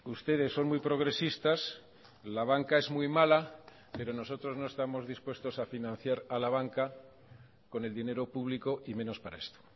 ustedes son muy progresistas la banca es muy mala pero nosotros no estamos dispuestos a financiar a la banca con el dinero público y menos para esto